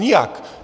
Nijak.